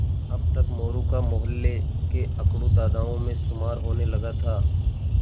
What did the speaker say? अब तक मोरू का मौहल्ले के अकड़ू दादाओं में शुमार होने लगा था